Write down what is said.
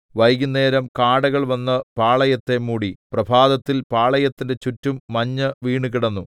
വൈകുന്നേരം കാടകൾ വന്ന് പാളയത്തെ മൂടി പ്രഭാതത്തിൽ പാളയത്തിന്റെ ചുറ്റും മഞ്ഞ് വീണുകിടന്നു